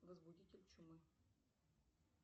возбудитель чумы